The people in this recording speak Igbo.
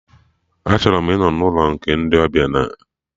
Achọrọ m ịnọ n'ụlọ ndị ọbịa nke ndị Legos steeti